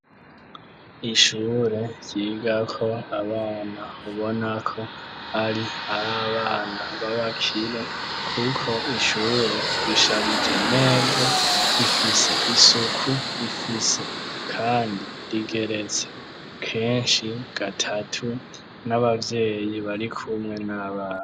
Ishure ryiga ko abana .Ubona ko ari ari abana babakire kuko ishure risharije neza. rifise isuku rifise kandi rigeretse kenshi gatatu n'abavyeyi bari kumwe n'abana.